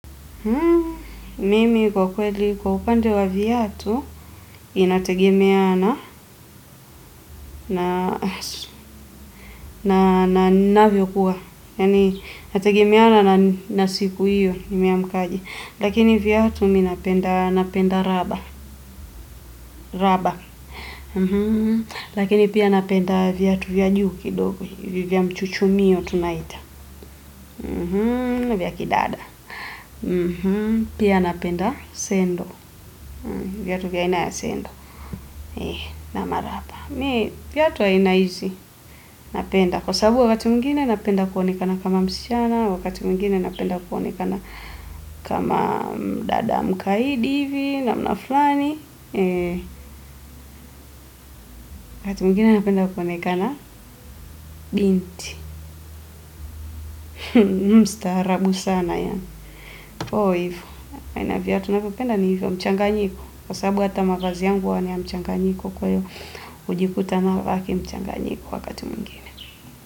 Mimi kwa kweli, kwa upande wa viatu, inategemea na ninavyokuwa. Yaani, inategemea na siku hiyo, nimeamka aje. Lakini viatu mi napenda raba. Lakini pia napenda viatu vya juu kidogo. Ni vya mchuchumio tunaita. Vya kidada. Pia napenda sendo. Viatu vya aina ya sendo. Ama raba, viatu aina hizi napenda kwa sababu wakati mwingine napenda kuonekana kama msichana. Wakati mwingine napenda kuonekana kama dada mkaidi hivi namna fulani. Wakati mwingine napenda kuonekana binti. Mstaarabu sana yaani. Oh, hivo. Aina ya viatu navyopenda ni hivyo mchanganyiko. Kwa sababu hata mavazi yangu huwa ni ya mchanganyiko kwa hivyo. Najikuta navaa ki mchanganyiko wakati mwingine.